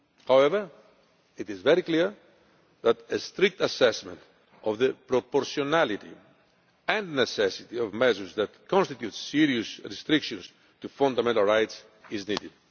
However, it is very clear that a strict assessment of the proportionality and necessity of measures that constitute serious restrictions to fundamental rights is needed.